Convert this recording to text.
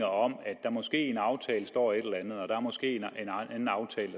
om at der måske står et eller andet og at der måske